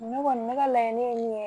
Ne kɔni bɛ ka laɲini ye min ye